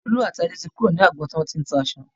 Tolú àti Adé ti kúrò ní agbọn tí wọ́n ti ń ta aṣọ.